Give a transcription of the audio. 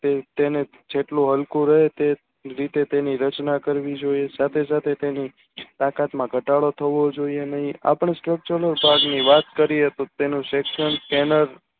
તેમજ જેટલું હલકું હોય તે રીતે તેની રચના કરવી જોયે સાથે સાથે તેની તેમાં ઘટાડો થવો જોઇએ નેહી આપણે Slok Channel કાલની વાત કરીયે તો તેને Sestant તેમજ